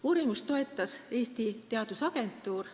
Uurimust toetas Eesti Teadusagentuur.